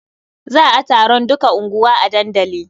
Za a taron duka unguwa a dandali.